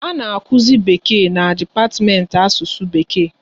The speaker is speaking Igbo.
A na akuzi Bekee na dipatiment Asụsụ Bekee